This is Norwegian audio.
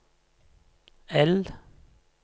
L